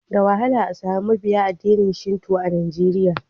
Da wahala a sami mabiyin addinin Shinto a Najeriya.